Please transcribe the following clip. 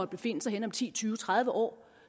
befinde sig henne om ti tyve tredive år